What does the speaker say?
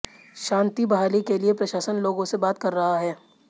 शांति बहाली के लिए प्रशासन लोगों से बात कर रहा है